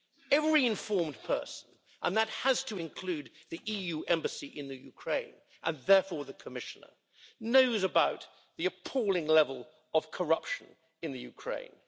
Every informed person and that has to include the EU embassy in Ukraine, and therefore the Commissioner knows about the appalling level of corruption in Ukraine.